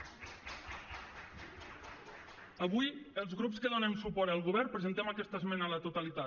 avui els grups que donem suport al govern presentem aquesta esmena a la totalitat